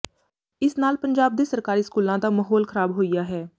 ਇਸ ਨਾਲ ਪੰਜਾਬ ਦੇ ਸਰਕਾਰੀ ਸਕੂਲਾਂ ਦਾ ਮਹੌਲ ਖਰਾਬ ਹੋਇਆ ਹੈ